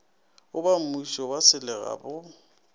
go bammušo wa selega go